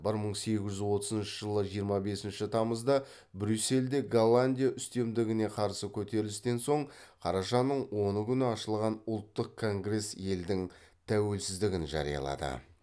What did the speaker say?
бір мың сегіз жүз отызыншы жылы жиырма бесінші тамызда брюссельде голландия үстемдігіне қарсы көтерілістен соң қарашаның оны күні ашылған ұлттық конгресс елдің тәуелсіздігін жариялады